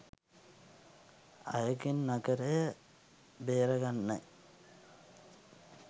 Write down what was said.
අයගෙන් නගරය ‍බේරගන්නයි